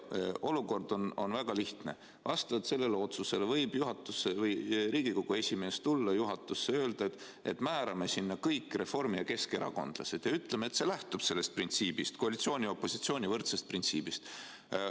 Olukord on väga lihtne: vastavalt sellele otsusele võib Riigikogu esimees tulla juhatusse ja öelda, et määrame sinna kõik reformi- ja keskerakondlased ja ütleme, et see lähtub sellest printsiibist, koalitsiooni ja opositsiooni võrdsuse printsiibist.